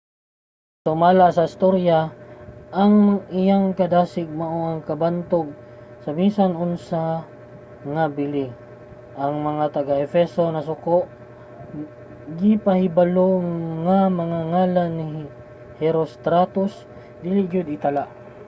sumala sa istorya ang iyang kadasig mao ang kabantog sa bisan unsa nga bili. ang mga taga-efeso nasuko gipahibalo nga ang ngalan ni herostratus dili gayud itala